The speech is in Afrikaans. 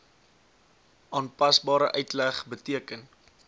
aanpasbare uitleg beteken